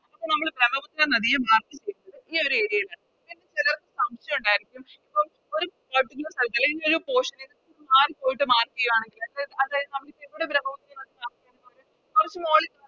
അപ്പൊ നമ്മള് നദിയും ഈയൊര് Area ല് സംശയോണ്ടാരുന്നു അപ്പോം